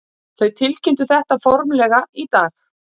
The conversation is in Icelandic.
Þau tilkynntu þetta formlega í dag